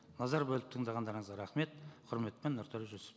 назар бөліп тыңдағандарыңызға рахмет құрметпен нұртөре жүсіп